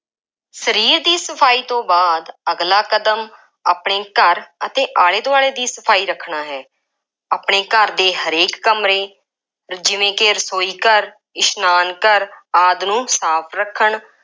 ਸਰੀਰ ਦੀ ਸਫਾਈ ਤੋਂ ਬਾਅਦ, ਅਗਲਾ ਕਦਮ ਆਪਣੇ ਘਰ ਅਤੇ ਆਲੇ ਦੁਆਲੇ ਦੀ ਸਫਾਈ ਰੱਖਣਾ ਹੈ। ਆਪਣੇ ਘਰ ਦੇ ਹਰੇਕ ਕਮਰੇ ਜਿਵੇਂ ਕਿ ਰਸੋਈ ਘਰ, ਇਸ਼ਨਾਨ ਘਰ ਆਦਿ ਨੂੰ ਸਾਫ ਰੱਖਣ,